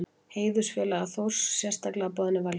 Heiðursfélagar Þórs sérstaklega boðnir velkomnir.